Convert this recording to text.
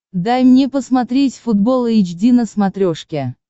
дай мне посмотреть футбол эйч ди на смотрешке